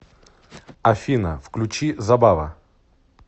афина включить забава